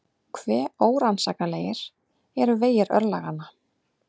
Hve órannsakanlegir eru vegir örlaganna!